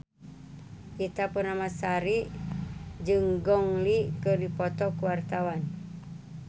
Ita Purnamasari jeung Gong Li keur dipoto ku wartawan